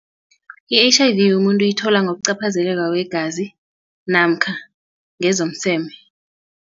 I-H_I_V umuntu uyithola ngokuqaphazeleko kwegazi namkha ngezomseme.